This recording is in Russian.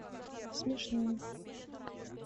смешные